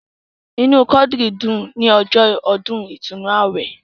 Inú Quadri dùn ní ọjọ́ ọdún ìtúnnu awẹ.